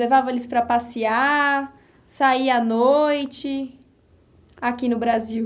Levava eles para passear, sair à noite, aqui no Brasil?